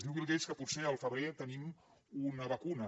diu bill gates que potser al febrer tenim una vacuna